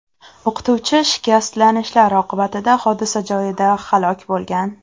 O‘qituvchi shikastlanishlar oqibatida hodisa joyida halok bo‘lgan.